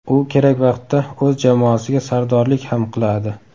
U kerak vaqtda o‘z jamoasiga sardorlik ham qiladi.